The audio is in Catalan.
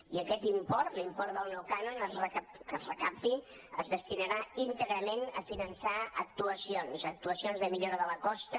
i aquest import l’import del nou cànon que es recapti es destinarà íntegrament a finançar actuacions actuacions de millora de la costa